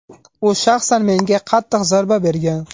U shaxsan menga qattiq zarba bergan.